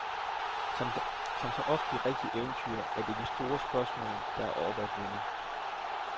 Som så ofte i rigtige eventyr er det de store spørgsmål, der er oppe at vende.